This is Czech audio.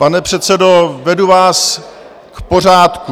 Pane předsedo, vedu vás k pořádku.